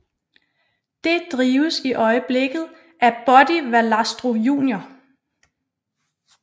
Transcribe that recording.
Det drives i øjeblikket af Buddy Valastro Jr